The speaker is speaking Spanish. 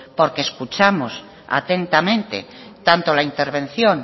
porque escuchamos atentamente tanto la intervención